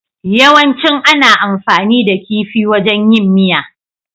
Yawancin ana amfani da kifi wajan yin miya.